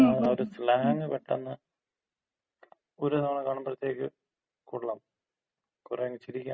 അതിനകത്താ ഒര് സ്ലാങ് പെട്ടെന്ന് ഒര് തവണ കാണുമ്പഴത്തേക്ക് കൊള്ളാം, കൊറെ അങ്ങ് ചിരിക്കാനുണ്ട്.